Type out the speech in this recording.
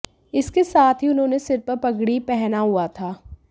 इसके साथ हूी उन्होंने सिर पर पगड़ी पहना हुआ था